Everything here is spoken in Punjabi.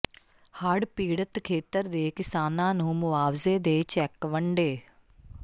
ਹੜ੍ਹ ਪੀਡ਼ਤ ਖੇਤਰ ਦੇ ਕਿਸਾਨਾਂ ਨੂੰ ਮੁਆਵਜ਼ੇ ਦੇ ਚੈੱਕ ਵੰਡੇ